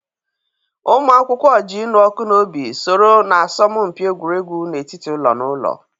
Ụmụ akwụkwọ ji ịnụ ọkụ n'obi soro na asọmpi egwuregwu n'etiti ụlọ na ụlọ.